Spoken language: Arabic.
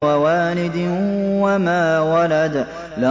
وَوَالِدٍ وَمَا وَلَدَ